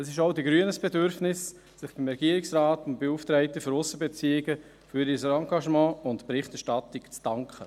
Es ist auch den Grünen ein Bedürfnis, sich beim Regierungsrat und beim Beauftragten für Aussenbeziehungen für ihr Engagement und für die Berichterstattung zu danken.